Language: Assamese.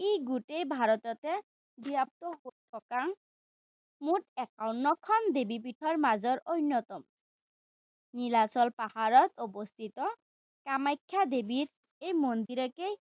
ই গোটেই ভাৰততে ব্যাপ্ত থকা মুঠ একাৱন্নখন দেৱীপীঠৰ মাজৰ অন্যতম। নীলীচল পাহাৰত অৱস্থিত কামাখ্যা দেৱীৰ এই মন্দিৰকে